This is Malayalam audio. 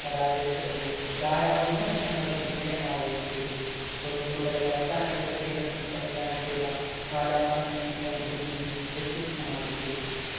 പരാജയപ്പെടുകയും ധാരാളം വിമർശനങ്ങൾക്ക് വിധേയമാവുകയും ചെയ്തു. തൊണ്ണൂറുകളിൽ അവസാനത്തെ പ്രിയദർശൻ സംവിധാനം ചെയ്ത കലാപാനി എന്ന ചിത്രം ഇതിൽനിന്ന് വ്യത്യസ്തമായി വിജയിച്ചു.